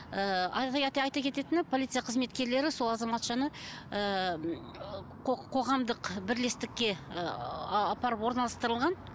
ыыы әрі қарайтай айта кететінім полция қызметкерлері сол азаматшаны ыыы қоғамдық бірлестікке ыыы апарып орналастырылған